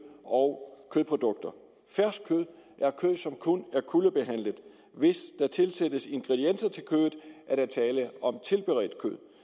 og kødprodukter fersk kød er kød som kun er kuldebehandlet hvis der tilsættes ingredienser til kødet er der tale om tilberedt